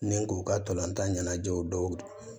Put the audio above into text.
Ni k'u ka tolantan ɲɛnajɛw dɔw